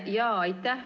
Aitäh!